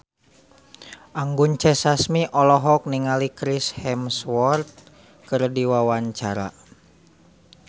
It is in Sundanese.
Anggun C. Sasmi olohok ningali Chris Hemsworth keur diwawancara